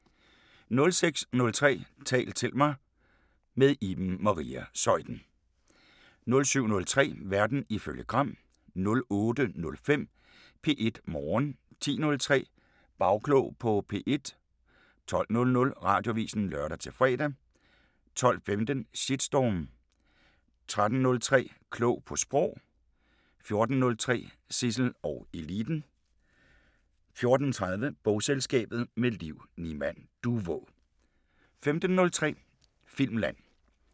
06:03: Tal til mig – med Iben Maria Zeuthen * 07:03: Verden ifølge Gram * 08:05: P1 Morgen 10:03: Bagklog på P1 12:00: Radioavisen (lør-fre) 12:15: Shitstorm 13:03: Klog på Sprog * 14:03: Zissel og Eliten 14:30: Bogselskabet – med Liv Nimand Duvå 15:03: Filmland